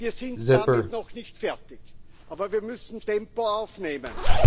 Wir sind damit noch nicht fertig, aber wir müssen Tempo aufnehmen.